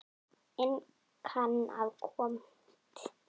inn kann að koma tilfinningum sínum í orð.